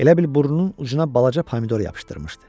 Elə bil burnunun ucuna balaca pomidor yapışdırmışdı.